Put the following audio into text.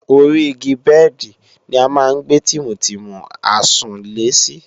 Ori igi bẹ́ẹ̀dì ni a máa ń gbé tìmùtìmù àsùnlé sí